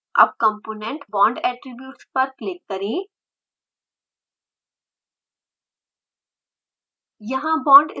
अब component bond attributes पर click करें